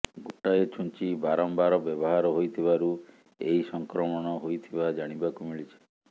ଗୋଟାଏ ଛୁଞ୍ଚି ବାରମ୍ବାର ବ୍ୟବହାର ହୋଇଥିବାରୁ ଏହି ସଂକ୍ରମଣ ହୋଇଥିବା ଜାଣିବାକୁ ମିଳିଛି